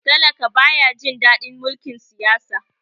talaka ba ya Jin dadin mulkin Siyasa